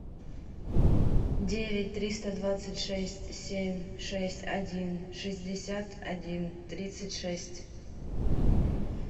девять триста двадцать шесть семь шесть один шестьдесят один тридцать шесть